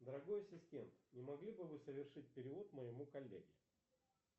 дорогой ассистент не могли бы вы совершить перевод моему коллеге